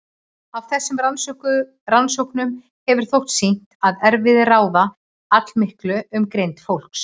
Af þessum rannsóknum hefur þótt sýnt að erfðir ráða allmiklu um greind fólks.